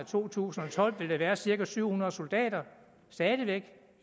to tusind og tolv vil væk være cirka syv hundrede soldater